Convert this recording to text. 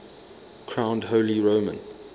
crowned holy roman